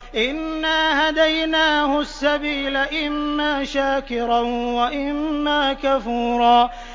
إِنَّا هَدَيْنَاهُ السَّبِيلَ إِمَّا شَاكِرًا وَإِمَّا كَفُورًا